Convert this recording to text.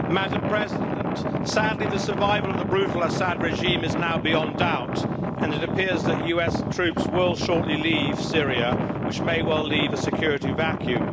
Madam President, sadly the survival of the brutal Assad regime is now beyond doubt, and it appears that US troops will shortly leave Syria, which may well leave a security vacuum.